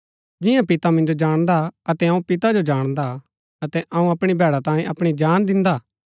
जियां पिता मिन्जो जाणदा अतै अऊँ पिता जो जाणदा हा अतै अऊँ अपणी भैडा तांयें अपणी जान दिन्दा हा